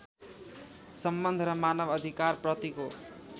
सम्बन्ध र मानव अधिकारप्रतिको